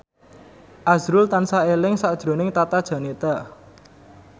azrul tansah eling sakjroning Tata Janeta